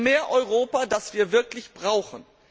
Für mehr Europa, das wir wirklich brauchen.